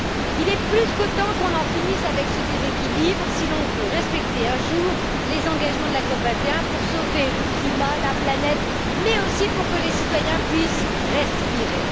Il est plus que temps qu'on en finisse avec ce déséquilibre si l'on veut respecter un jour les engagements de la COP 21 pour sauver le climat et la planète, mais aussi pour que les citoyens puissent respirer.